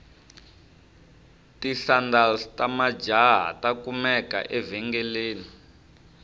tisandals tamajahha takumeka evengeleni